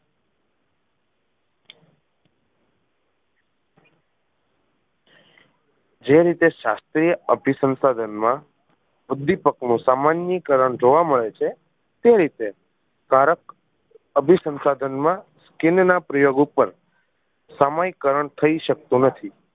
જે રીતે શાસ્ત્રીય અભિસંસાધન માં ઉદ્વિપક નું સમાનીકર્ણ જોવા મળે છે તે રીતે કારક અભિસંસાધન મા skin ના પ્રયોગ ઉપર સમયકરણ થઈ શકતું નથી